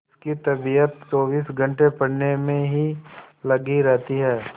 उसकी तबीयत चौबीस घंटे पढ़ने में ही लगी रहती है